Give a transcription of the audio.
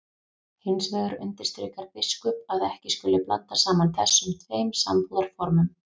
Hins vegar undirstrikar biskup að ekki skuli blanda saman þessum tveim sambúðarformum.